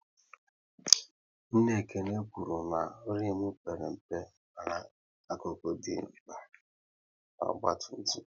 Nna Ekene kwụrụ na rimu père mpe mana akụkụ dị mkpa na ọgba tum tum